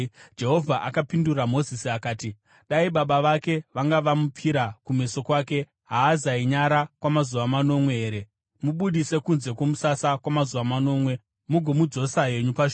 Jehovha akapindura Mozisi achiti, “Dai baba vake vanga vamupfira kumeso kwake, haazainyara kwamazuva manomwe here? Mubudise kunze kwomusasa kwamazuva manomwe; mugomudzosa henyu pashure.”